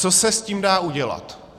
Co se s tím dá udělat?